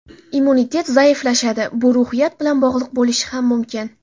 Immunitet zaiflashadi, bu ruhiyat bilan bog‘liq bo‘lishi ham mumkin.